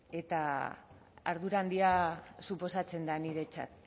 eta ardura handia suposatzen da niretzat